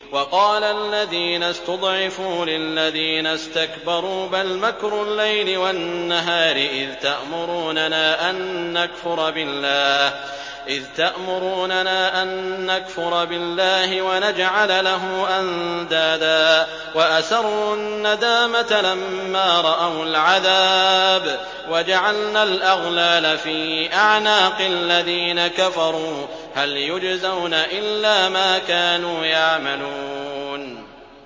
وَقَالَ الَّذِينَ اسْتُضْعِفُوا لِلَّذِينَ اسْتَكْبَرُوا بَلْ مَكْرُ اللَّيْلِ وَالنَّهَارِ إِذْ تَأْمُرُونَنَا أَن نَّكْفُرَ بِاللَّهِ وَنَجْعَلَ لَهُ أَندَادًا ۚ وَأَسَرُّوا النَّدَامَةَ لَمَّا رَأَوُا الْعَذَابَ وَجَعَلْنَا الْأَغْلَالَ فِي أَعْنَاقِ الَّذِينَ كَفَرُوا ۚ هَلْ يُجْزَوْنَ إِلَّا مَا كَانُوا يَعْمَلُونَ